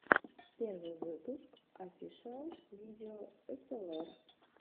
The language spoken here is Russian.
первый выпуск офишиал видео эсэлэр